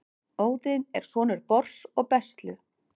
Óðinn er sonur Bors og Bestlu.